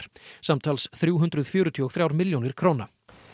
samtals þrjú hundruð fjörutíu og þrjár milljónir króna